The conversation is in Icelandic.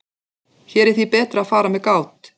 Hér er því betra að fara með gát.